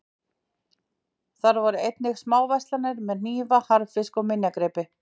Þar voru einnig smáverslanir með hnífa, harðfisk, og minjagripi.